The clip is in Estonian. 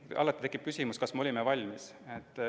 Alati tekib küsimus, kas me olime valmis.